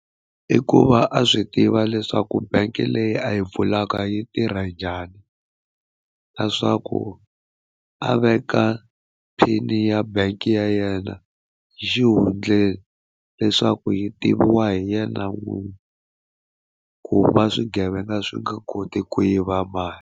I ku va a swi tiva leswaku bank leyi a yi pfulaka yi tirha njhani leswaku a veka pin ya bangi ya yena hi xihundleni leswaku yi tiviwa hi yena n'wini ku va swigevenga swi nga koti ku yiva mali.